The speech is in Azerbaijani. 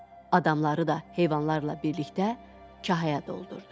Adamları da heyvanlarla birlikdə kahaya doldurdu.